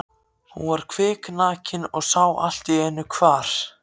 Hún var kviknakin og sá allt í einu hvar